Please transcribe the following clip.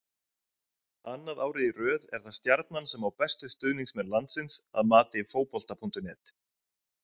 Annað árið í röð er það Stjarnan sem á bestu stuðningsmenn landsins að mati Fótbolta.net.